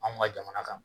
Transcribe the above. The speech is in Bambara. Anw ka jamana kan